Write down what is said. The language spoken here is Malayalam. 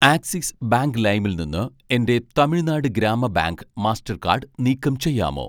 ആക്സിസ് ബാങ്ക് ലൈമിൽ നിന്ന് എൻ്റെ തമിഴ്നാട് ഗ്രാമ ബാങ്ക് മാസ്റ്റർകാഡ് നീക്കം ചെയ്യാമോ